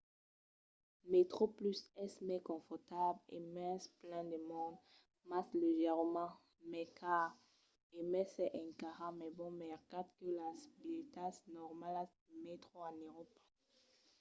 metroplus es mai confortable e mens plen de monde mas leugièrament mai car e mai s'es encara mai bon mercat que las bilhetas normalas de mètro en euròpa